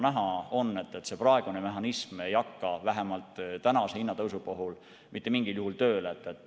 Näha on, et praegune mehhanism ei hakka vähemalt praeguse hinnatõusu puhul mitte mingil juhul tööle.